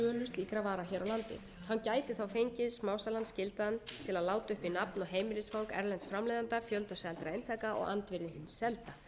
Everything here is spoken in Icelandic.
slíkra vara hér á landi hann gæti þá fengið smásalann skyldaðan til að láta uppi nafn og heimilisfang erlends framleiðanda fjölda seldra eintaka og andvirði hins